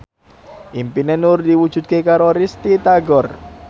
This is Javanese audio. impine Nur diwujudke karo Risty Tagor